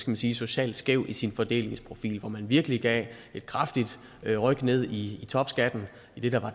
man sige socialt skævt i sin fordelingsprofil hvor man virkelig gav et kraftigt ryk ned i topskatten i det der